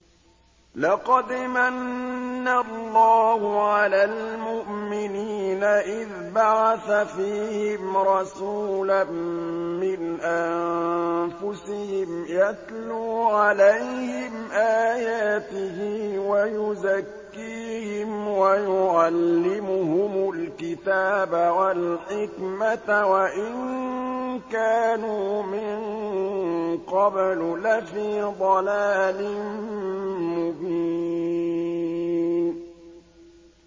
لَقَدْ مَنَّ اللَّهُ عَلَى الْمُؤْمِنِينَ إِذْ بَعَثَ فِيهِمْ رَسُولًا مِّنْ أَنفُسِهِمْ يَتْلُو عَلَيْهِمْ آيَاتِهِ وَيُزَكِّيهِمْ وَيُعَلِّمُهُمُ الْكِتَابَ وَالْحِكْمَةَ وَإِن كَانُوا مِن قَبْلُ لَفِي ضَلَالٍ مُّبِينٍ